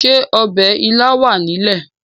Ṣé ọ̀bẹ ilá wà ní ilé?